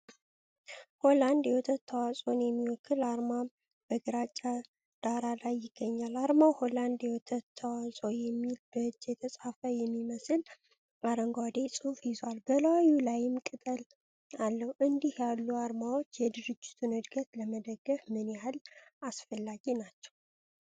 ሆላንድ የወተት ተዋጽኦን የሚወክል አርማ በግራጫ ዳራ ላይ ይገኛል። አርማው "ሆላንድ የወተት ተዋጽኦ" የሚል በእጅ የተጻፈ የሚመስል አረንጓዴ ጽሑፍ ይዟል፤ በላዩ ላይም ቅጠል አለው። እንዲህ ያሉ አርማዎች የድርጅቱን ዕድገት ለመደገፍ ምን ያህል አስፈላጊ ናቸው?